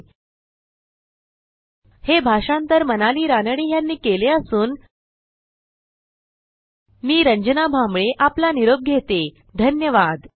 spoken hyphen tutorial dot org slash nmeict hyphen intro हे भाषांतर मनाली रानडे यांनी केले असून मी रंजना भांबळे आपला निरोप घेते160धन्यवाद